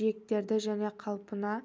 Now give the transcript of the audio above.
жиектерді және қалпына